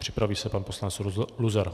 Připraví se pan poslanec Luzar.